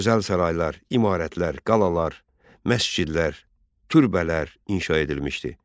Gözəl saraylar, imarətlər, qalalar, məscidlər, türbələr inşa edilmişdi.